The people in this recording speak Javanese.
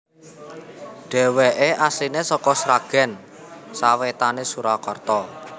Dhèwèké asliné saka Sragèn sawétané Surakarta